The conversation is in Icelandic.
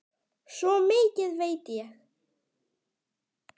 Svo mikið veit ég.